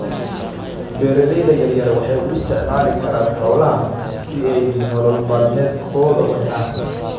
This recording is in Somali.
Beeralayda yaryar waxay u isticmaali karaan xoolaha si ay nolol maalmeedkooda u helaan.